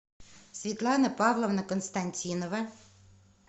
светлана павловна константинова